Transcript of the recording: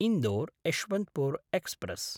Indore Yesvantpur express